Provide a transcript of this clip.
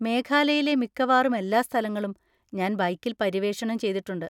മേഘാലയയിലെ മിക്കവാറും എല്ലാ സ്ഥലങ്ങളും ഞാൻ ബൈക്കിൽ പര്യവേക്ഷണം ചെയ്തിട്ടുണ്ട്.